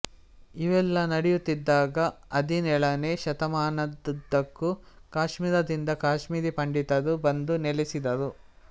ಇವೆಲ್ಲಾ ನಡೆಯುತ್ತಿದ್ದಾಗ ಹದಿನೇಳನೇ ಶತಮಾನದುದ್ದಕ್ಕೂ ಕಾಶ್ಮೀರದಿಂದ ಕಾಶ್ಮೀರಿ ಪಂಡಿತರು ಬಂದು ನೆಲೆಸಿದರು